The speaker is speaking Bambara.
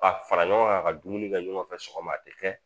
Ka fara ɲɔgɔn kan ka dumuni kɛ ɲɔgɔn fɛ sɔgɔma a tɛ kɛ